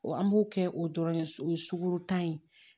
an b'o kɛ o dɔrɔn ye o ye suku tan ye